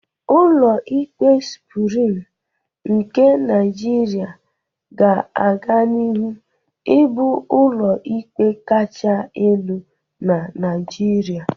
Ụlọ ikpe Suprim nke Naịjirịa ga aganihu ịbụ ụlọ ikpe kacha elu na Naịjirịa.